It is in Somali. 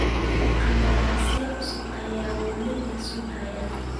Qandaraasyada cusub ayaa wali la sugayaa.